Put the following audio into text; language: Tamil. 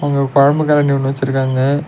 இங்க ஒரு கொழம்பு கரண்டி ஒன்னு வெச்சிருக்காங்க.